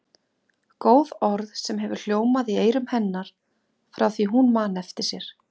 Góð, orð sem hefur hljómað í eyrum hennar frá því hún man eftir sér.